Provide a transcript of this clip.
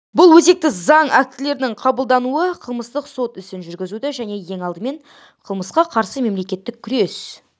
бұл өзекті заң актілерінің қабылдануы қылмыстық сот ісін жүргізуді және ең алдымен қылмысқа қарсы мемлекеттің күрес